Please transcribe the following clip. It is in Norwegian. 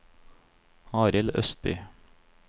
Arild Østby